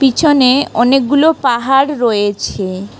পিছনে অনেকগুলো পাহাড় রয়েছে।